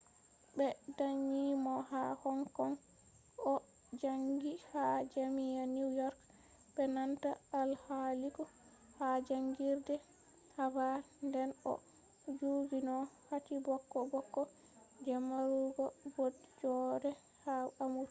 ɓe danyi mo ha hong kong o jaangi ha jaami’a new york be nanta alkaliku ha jaangirde havard nden o jogino kati bokko bokko je marugo baude joode haa amurka